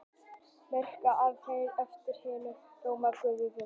merkúríus er nefnd eftir hinum rómverska guði verslunar